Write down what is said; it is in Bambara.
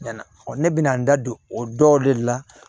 Ɲɛna ɔ ne bɛna n da don o dɔw de la